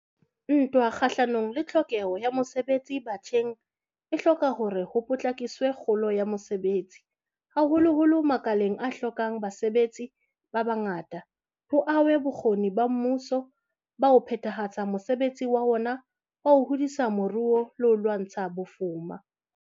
Ntwa kgahlano le tlhokeho ya mosebetsi batjheng e hloka hore ho potlakiswe kgolo ya mosebetsi, haholoholo makaleng a hlokang basebetsi ba bangata, ho ahwe bokgoni ba mmuso ba ho phethahatsa mosebetsi wa ona wa ho hodisa moruo le ho lwantsha bofuma.